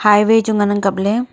highway chu ngan ang kapley.